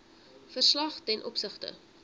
verslag ten opsigte